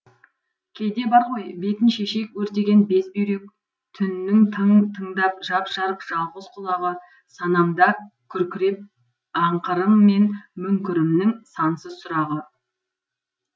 кейде бар ғой бетін шешек өртеген безбүйре түннің тың тыңдап жап жарық жалғыз құлағы санамда күркіреп аңқырым мен мүңкірімнің сансыз сұрағы